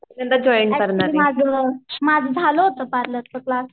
actually माझं माझं झालं होतं पार्लरचं क्लास